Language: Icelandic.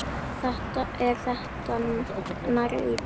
Er það nærri lagi?